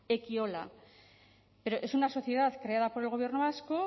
ekiola es una sociedad creada por el gobierno vasco